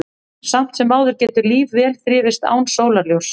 Samt sem áður getur líf vel þrifist án sólarljóss.